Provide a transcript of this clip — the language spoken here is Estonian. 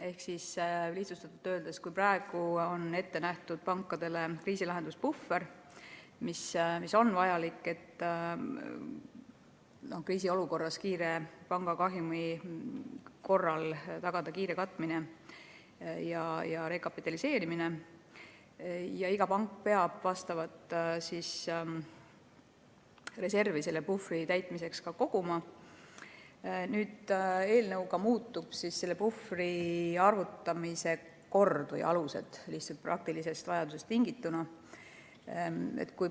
Ehk lihtsustatult öeldes, praegu on pankadele ette nähtud kriisilahenduspuhver, mis on vajalik selleks, et tagada kriisiolukorras panga kahjumi kiire katmine ja rekapitaliseerimine – iga pank peab vastavat reservi selle puhvri täitmiseks ka koguma –, kuid selle eelnõuga muudetakse puhvri arvutamise aluseid, lihtsalt praktilisest vajadusest tingituna.